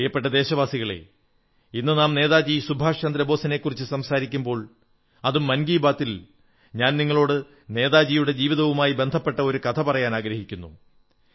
പ്രിയപ്പെട്ട ദേശവാസികളേ ഇന്ന് നാം നേതാജി സുഭാഷ് ചന്ദ്ര ബോസിനെക്കുറിച്ചു സംസാരിക്കുമ്പോൾ അതും മൻ കീ ബാത്തിൽ ഞാൻ നിങ്ങളോട് നേതാജിയുടെ ജീവിതവുമായി ബന്ധപ്പെട്ട ഒരു കഥ പറയാനാഗ്രഹിക്കുന്നു